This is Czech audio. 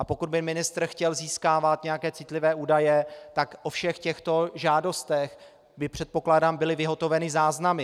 A pokud by ministr chtěl získávat nějaké citlivé údaje, tak o všech těchto žádostech by - předpokládám - byly vyhotoveny záznamy.